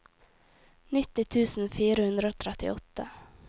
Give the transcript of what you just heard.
nitti tusen fire hundre og trettiåtte